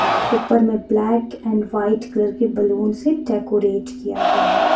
ऊपर में black and white colour की बैलून से डेकोरेट किया गया है.